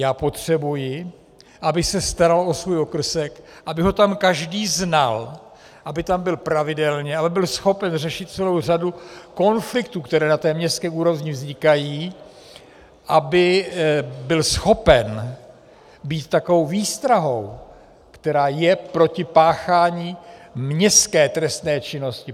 Já potřebuji, aby se staral o svůj okrsek, aby ho tam každý znal, aby tam byl pravidelně, aby byl schopen řešit celou řadu konfliktů, které na té městské úrovni vznikají, aby byl schopen být takovou výstrahou, která je proti páchání městské trestné činnosti.